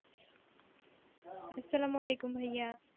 আসসালামু আলাইকুম ভাইয়া